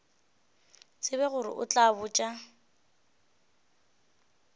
tsebe gore o tla botša